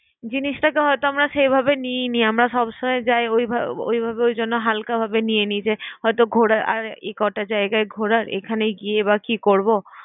জিনিসটাকে হয়তো আমরা সেভাবে নিই নি, আমরা সবসময়ই যাই ওইভা~ ওইভাবে ওই জন্য হালকাভাবে নিয়ে নেই যে ঘোরা আর এ কটা জায়গার ঘোরার এখানে গিয়েই বা কি করব?